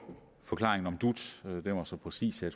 forklaringen om dut den var så præcis at